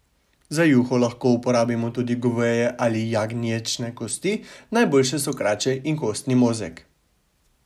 Za juho lahko uporabimo tudi goveje ali jagnječje kosti, najboljše so krače in kostni mozeg.